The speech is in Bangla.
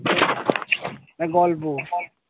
এটা গল্প।